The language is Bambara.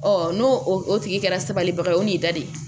n'o o tigi kɛra sabalibaga ye o n'i da de